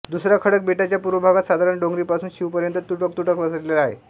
दुसरा खडक बेटाच्या पूर्व भागात साधारण डोंगरीपासून शीवपर्यंत तुटकतुटक पसरलेला आहे